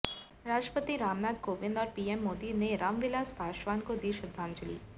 राष्ट्रपति रामनाथ कोविंद और पीएम मोदी ने रामविलास पासवान को दी श्रद्धांजलि